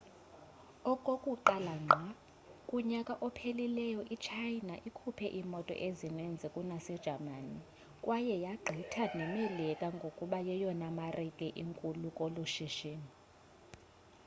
okokuqala ngqa kunyaka ophelileyo i-china ikhuphe iimoto ezininzi kunasejamani kwaye yagqitha nemelika ngokuba yeyona marike inkulu kolu shishino